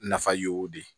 Nafa y'o de ye